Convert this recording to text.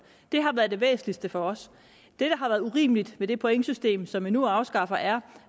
det har været det væsentligste for os det der har været urimeligt ved det pointsystem som vi nu afskaffer er